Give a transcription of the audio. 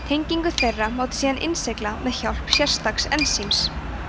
tengingu þeirra mátti síðan innsigla með hjálp sérstaks ensíms